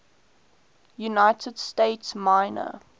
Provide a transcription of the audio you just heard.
united states minor